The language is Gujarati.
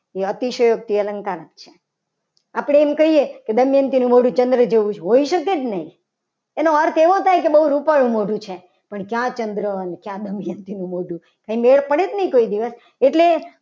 એ અતિશયોક્તિ અલંકાર છે. આપણે એમ કહીએ કે ચંદ્ર જોઉં છું. હોઈ શકે કે નહીં એનો અર્થ એવો થાય કે બહુ રૂપાળું મોઢું છે. પણ ક્યાં ચંદ્ર અને કયા દમયંતી નું મોઢું એટલે મેળ પડે કે નહીં. કોઈ દિવસ એટલે